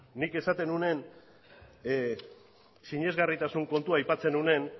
nik esaten nuenean sinesgarritasun kontua aipatzen nuenean